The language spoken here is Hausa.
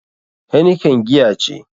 Heineken giya ce.